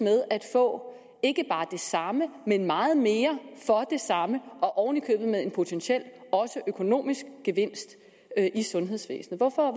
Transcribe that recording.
at få ikke bare det samme men meget mere for det samme og oven i købet også med en potentiel økonomisk gevinst i sundhedsvæsenet hvorfor